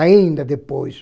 Ainda depois.